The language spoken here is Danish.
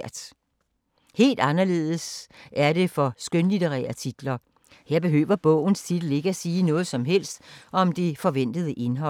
Helt anderledes er det for skønlitterære titler. Her behøver bogens titel ikke at sige noget som helst om det forventede indhold.